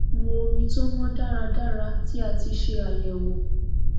mu omi to mọ daradara ti a ti ṣe àyẹwọ